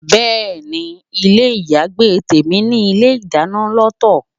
Bẹ́ẹ̀ni, ilé ayagbé tèmi ní ilé ìdáná lọ́tọ̀.